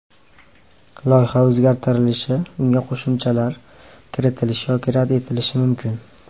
Loyiha o‘zgartirilishi, unga qo‘shimchalar kiritilishi yoki rad etilishi mumkin.